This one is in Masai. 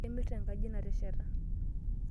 Kemirta enkaji nasheta.